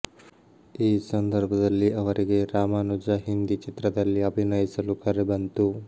ಈ ಸಂದರ್ಭದಲ್ಲಿ ಅವರಿಗೆ ರಾಮಾನುಜ ಹಿಂದಿ ಚಿತ್ರದಲ್ಲಿ ಅಭಿನಯಿಸಲು ಕರೆ ಬಂತು